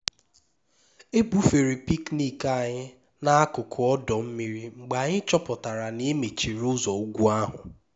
e bufere picnic anyị n'akụkụ ọdọ mmiri mgbe anyị chọpụtara na e mechiri ụzọ ugwu ahụ